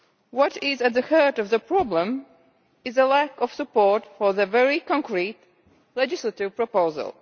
What is at the heart of the problem is a lack of support for the very concrete legislative proposal.